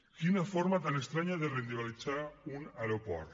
quina forma tan estranya de rendibilitzar un aeroport